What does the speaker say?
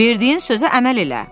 Verdiyin sözə əməl elə!